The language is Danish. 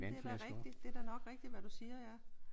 Jamen det er da rigtigt. Det er da nok rigtigt hvad du siger ja